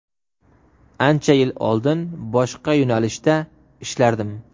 Ancha yil oldin boshqa yo‘nalishda ishlardim.